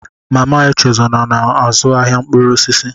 Mama Echezona na-azụ ahịa mkpụrụ osisi